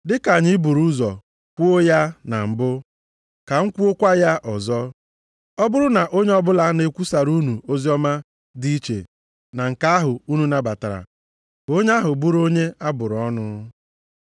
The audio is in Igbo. Dị ka anyị buru ụzọ kwuo ya na mbụ, ka m kwuokwa ya ọzọ: Ọ bụrụ na onye ọbụla na-ekwusara unu oziọma dị iche na nke ahụ unu nabatara, ka onye ahụ bụrụ onye a bụrụ ọnụ.